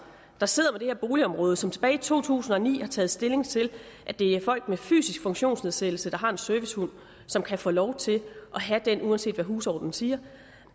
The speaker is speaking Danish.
der sidder boligområde som tilbage i to tusind og ni har taget stilling til at det er folk med fysisk funktionsnedsættelse der har en servicehund som kan få lov til at have den uanset hvad husordenen siger